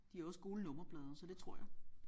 De har også gule nummerplader så det tror jeg